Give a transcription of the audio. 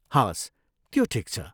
हवस्, त्यो ठिक छ।